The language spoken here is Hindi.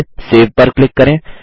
फिर सेव पर क्लिक करें